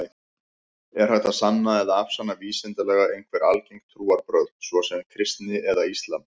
Er hægt að sanna eða afsanna vísindalega einhver algeng trúarbrögð, svo sem kristni eða islam?